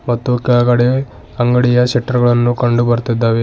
ಮತ್ತು ಕೆಳಗಡೆ ಅಂಗಡಿಯ ಶಟ್ರು ಗಳನ್ನು ಕಂಡು ಬರ್ತೀದ್ದಾವೆ.